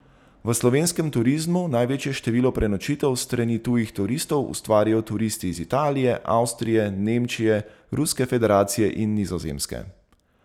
V slovenskem turizmu največje število prenočitev s strani tujih turistov ustvarijo turisti iz Italije, Avstrije, Nemčije, Ruske federacije in Nizozemske.